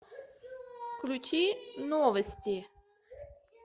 включи новости